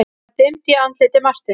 Það dimmdi í andliti Marteins.